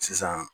Sisan